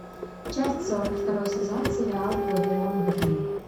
часть сорок второй сезон сериал вавилон берлин